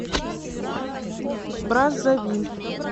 браззавиль